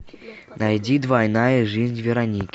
найди двойная жизнь вероники